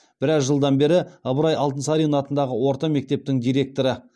біраз жылдан бері ыбырай алтынсарин атындағы орта мектептің директоры